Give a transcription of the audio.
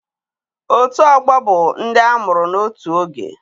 Otù ọgbọ bụ ndị amụrụ n'otù oge